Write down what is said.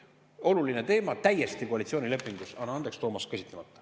Oluline teema, aga koalitsioonilepingus, anna andeks, Toomas, täiesti käsitlemata.